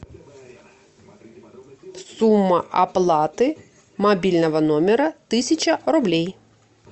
сумма оплаты мобильного номера тысяча рублей